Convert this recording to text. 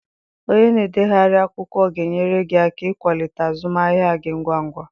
Onye na-edegharị akwụkwọ ga-enyere gị aka ịkwalite azụmahịa gị ngwa ngwa.